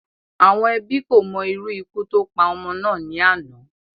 Àwọn Ẹbí kò mo irú ikú tó pa ọmọ náà ní àná